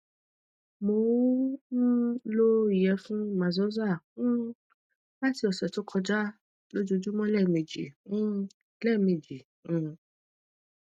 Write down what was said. mo n um lo iyefun maxoza um lati ọsẹ to koja lojoojumọ lẹmeji um lẹmeji um